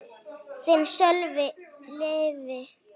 Þinn, Sölvi Leví.